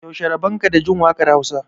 yaushe rabonka da Jin wakar Hausa